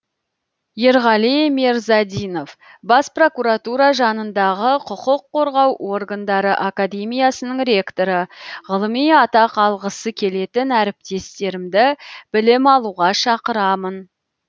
ерғали мерзадинов бас прокуратура жанындағы құқық қорғау органдары академиясының ректоры ғылыми атақ алғысы келетін әріптестерімді білім алуға шақырамын